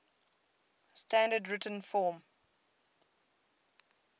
standard written form